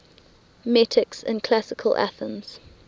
metics in classical athens